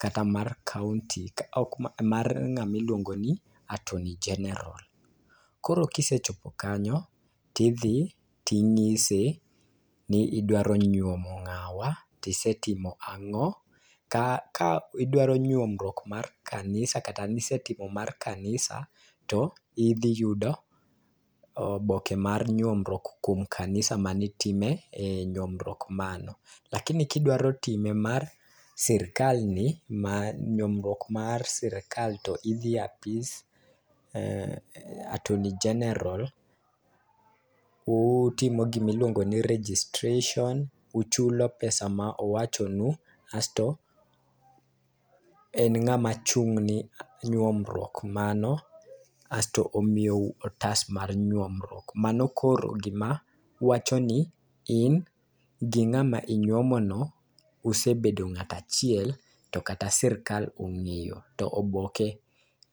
kata mar kaunti. Ka ok mar ng'ami luongo ni attorney general .Koro kisechopo kanyo tidhi tinyise ni idwaro nyuomo ng'awa tisetimo ang'o. Kidwaro nyuomruok mar kanisa kata nisetimo mar kanisa tidhi yudo oboke mar nyuomruok kuom kanisa manitime nyuomruok mano. Lakini kidwaro time mar sirikal ni to ma nyuomruok mar sirikal to idhie apis attorney general, utimo gimiluongo ni registration, uchulo pesa ma owacho nu asto en ng'ama chung' ne nyuomruok mano, asto omiyou otas mar nyuomruok. Mano koro gima wacho ni in gi ng'ama inyuomo no usebedo ng'at achiel to katya sirikal ong'eyo to oboke